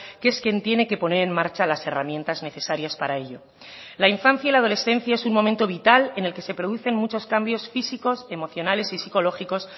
que es quien tiene que poner en marcha las herramientas necesarias para ello la infancia y la adolescencia es un momento vital en el que se producen muchos cambios físicos emocionales y psicológicos